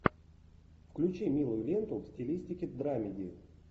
включи милую ленту в стилистике драмеди